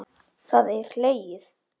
Það er hlegið.